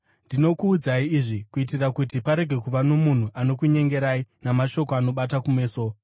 Ndinokuudzai izvi kuitira kuti parege kuva nomunhu anokunyengerai namashoko anobata kumeso.